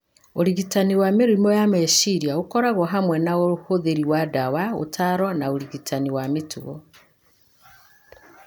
Ũrigitani wa mĩrimũ ya meciria ũkoragwo hamwe na ũhũthĩri wa ndawa, ũtaaro, na ũrigitani wa mĩtugo.